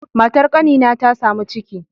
Matar kanina ta samu ciki